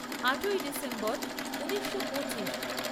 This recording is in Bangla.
আটই ডিসেম্বর ঊনিশো পঁচিশ